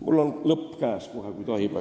Mul on lõpp käes kohe, kui tohib.